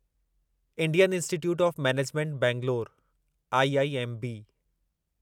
Indian Institute of Management Bangalore IIMB